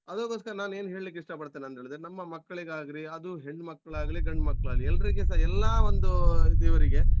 ಅದಕ್ಕೋಸ್ಕರ ನಾನೇನ್ ಹೇಳ್ಲಿಕ್ಕೆ ಇಷ್ಟ ಪಡ್ತೇನಂತೇಳಿದ್ರೆ ನಮ್ಮ ಮಕ್ಕಳಿಗಾಗ್ಲಿ ಅದು ಹೆಣ್ಮಕ್ಳಾಗ್ಲಿ ಗಂಡ್ ಮಕ್ಳಾಗ್ಲಿ ಎಲ್ರಿಗೆ ಸಹ ಎಲ್ಲಾಒಂದು ಇದ್ ಇವರಿಗೆ.